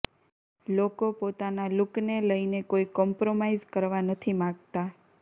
લોકો પોતાના લુકને લઇને કોઇ કોમ્પ્રોમાઇઝ કરવા નથી માગતા